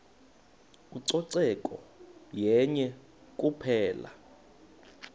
ucoceko yenye kuphela